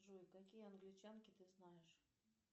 джой какие англичанки ты знаешь